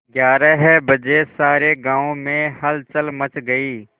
ग्यारह बजे सारे गाँव में हलचल मच गई